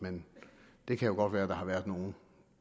men det kan jo godt være at der har været nogle